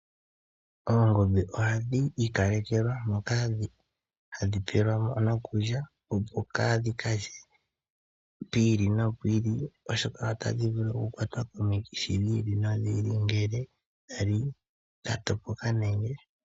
Oongombe ohadhi ikalekelwa moka hadhi pelwa mo okulya. Opo kaadhi kalye pomahala gi ili nogi ili. Oshoka otadhi vulu okukwatwa komikithi dhi ili nodhi ili ngele odha li dha topoka.